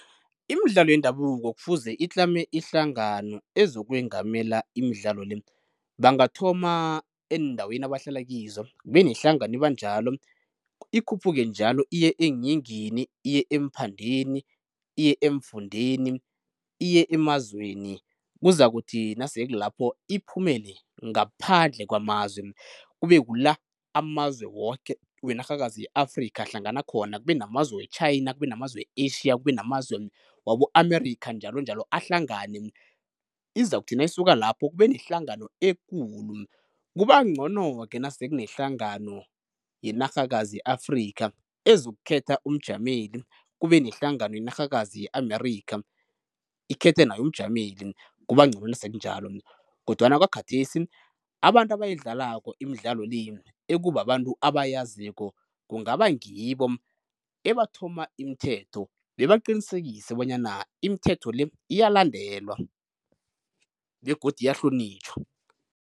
Imidlalo yendabuko kufuze itlame ihlangano ezokwengamela imidlalo le. Bangathoma eendaweni abahlala kizo, kube nehlangano eba njalo ikhuphuke njalo iye eeyingini, iye eemphandeni, iye eemfundeni, iye emazweni kuzakuthi nase kulapho iphumele ngaphandle kwamazwe. Kube kula amazwe woke wenarhakazi ye-Afrikha ahlangana khona kube namazwe we-China, kube namazwe we-Asia, kube namazwe wabo-Amerikha njalonjalo ahlangane. Izakuthi nayisuka lapho kube nehlangano ekulu, kuba ncono-ke nase kunehlangano yenarhakazi ye-Afrikha ezokukhetha umjameli kube nehlangano yenarhakazi ye-Amerikha ikhethe nayo umjameli, kuba ncono nasekunjalo. Kodwana kwakhathesi abantu abayidlalako imidlalo le, ekubabantu abayaziko kungaba ngibo ebathoma imithetho bebaqinisekise bonyana imithetho le iyalandelwa begodu iyahlonitjhwa.